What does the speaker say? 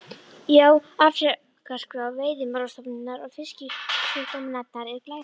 Já, afrekaskrá Veiðimálastofnunar og Fisksjúkdómanefndar er glæsileg.